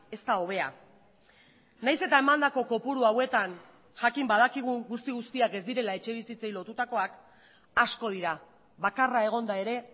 ez da hobea nahiz eta emandako kopuru hauetan jakin badakigu guzti guztiak ez direla etxe bizitzei lotutakoak asko dira bakarra egonda ere